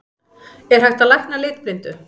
Er hægt að lækna litblindu?